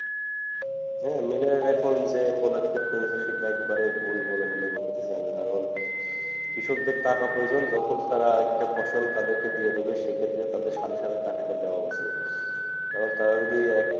হ্যাঁ মিলের এখন যে পদক্ষেপ সে কে একবারে ভুল বলে মনে হচ্ছে না কৃষকদের টাকা প্রয়োজন যখন তারা একটা ফসল তাদেরকে দিয়ে দেবে সে ক্ষেত্রে তাদের সাথে টাকাটা দেওয়া উচিত কারণ তারা যদি,